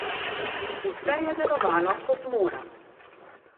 Vse je delovalo kot mora.